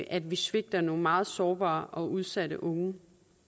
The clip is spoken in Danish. at vi svigter nogle meget sårbare og udsatte unge